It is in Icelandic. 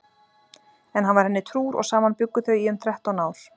En hann var henni trúr og saman bjuggu þau í um þrettán ár.